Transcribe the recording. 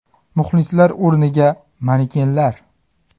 Muxlislar o‘rniga manekenlar.